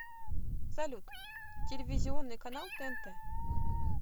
салют телевизионный канал тнт